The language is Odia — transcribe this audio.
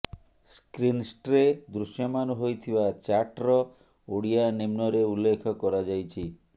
ସ୍କ୍ରିନ୍ସଟ୍ରେ ଦୃଶ୍ୟମାନ ହୋଇଥିବା ଚାଟ୍ର ଓଡ଼ିଆ ନିମ୍ନରେ ଉଲ୍ଲେଖ କରାଯାଇଛି